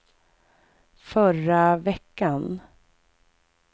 förra veckan